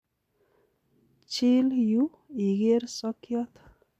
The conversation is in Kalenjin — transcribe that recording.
Chil yu iker sokiot.